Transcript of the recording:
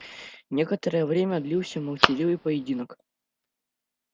некоторое время длился молчаливый поединок